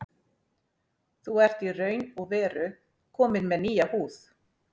Þú ert í raun og veru kominn með nýja húð.